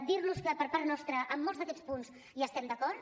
dir los que per part nostra en molts d’aquests punts hi estem d’acord